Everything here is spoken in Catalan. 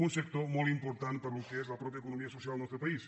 un sector molt important per al que és la pròpia econòmica social al nostre país